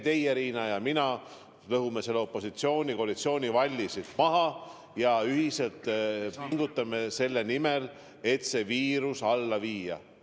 Teie, Riina, ja mina lõhume selle opositsiooni-koalitsiooni valli siin maha ja pingutame ühiselt selle nimel, et see viirus maha suruda.